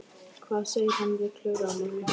Hvað segir hann við Klöru á morgun?